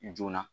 Joona